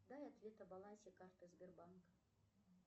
дай ответ о балансе карты сбербанк